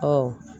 Ɔ